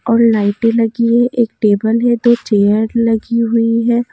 और लाइटे लगी है एक टेबल है दो चेयर लगी हुई है।